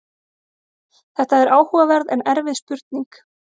Þetta er áhugaverð en erfið spurning.